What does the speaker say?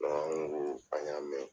Mɛ an ko an y'a mɛn.